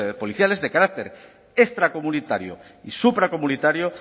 policiales de carácter extracomunitario y supracomunitario